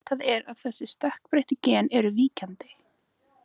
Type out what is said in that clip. Vitað er að þessi stökkbreyttu gen eru víkjandi.